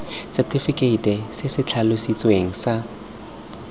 setefikeite se se tlhalositsweng sa